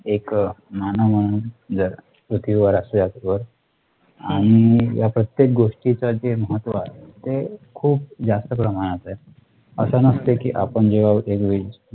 एक अह नाना म्हणून जे पृथ्वीवर आणि या प्रत्येक गोष्टी चं जे महत्त्व आहे ते खूप जास्त प्रमाणात आहे. अशा नसते की आपण जेव्हा ते